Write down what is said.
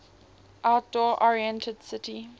outdoor oriented city